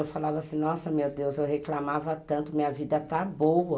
Eu falava assim, nossa, meu Deus, eu reclamava tanto, minha vida está boa.